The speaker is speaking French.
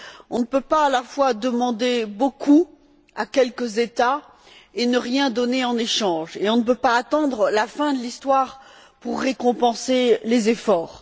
On ne peut pas à la fois demander beaucoup à quelques États et ne rien donner en échange et on ne peut pas attendre la fin de l'histoire pour récompenser les efforts.